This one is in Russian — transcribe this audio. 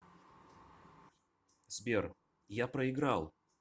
сбер я проиграл